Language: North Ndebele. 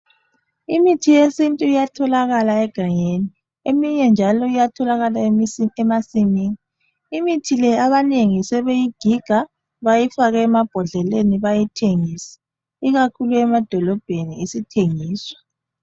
Imithi yesithu iyatholakala egangeni. Eminye njalo bayayithola emasimini. Imithi leyi abanengi sebeyayigiga beyifake emabhodleleni bayithengise. Ikakhuku emadolobheni isithengiswa.